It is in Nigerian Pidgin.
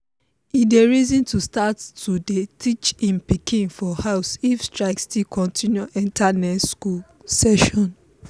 e dey reason to start to day teach hin piken for house if strike still continue enter next school session.